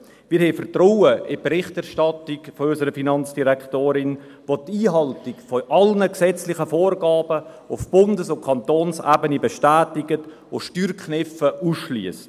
Wir haben Vertrauen in die Berichterstattung unserer Finanzdirektorin, welche die Einhaltung aller gesetzlichen Vorgaben auf Bundes- und Kantonsebene bestätigt und Steuerkniffe ausschliesst.